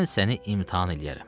Mən səni imtahan eləyərəm.